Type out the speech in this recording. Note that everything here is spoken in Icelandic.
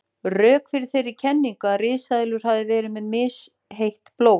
Rök fyrir þeirri kenningu að risaeðlur hafi verið með misheitt blóð.